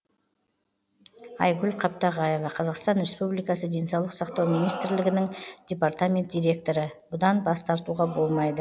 айгүл қаптағаева қазақстан республикасы денсаулық сақтау министрлігінің департамент директоры бұдан бас тартуға болмайды